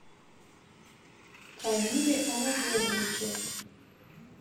комиле анатольевиче